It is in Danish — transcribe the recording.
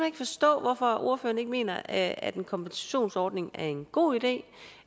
ikke forstå hvorfor ordføreren ikke mener at at en kompensationsordning er en god idé